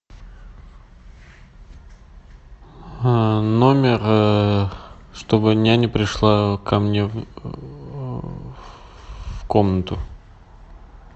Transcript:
номер чтобы няня пришла ко мне в комнату